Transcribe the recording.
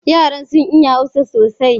Yaran sun iya Hausa sosai